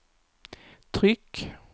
tryck